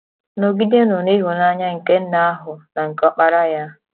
Nọgidenụ n’Ịhụnanya nke Nna ahụ na nke Ọkpara Ya